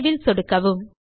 Saveல் சொடுக்கவும்